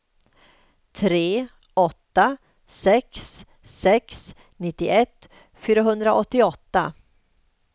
tre åtta sex sex nittioett fyrahundraåttioåtta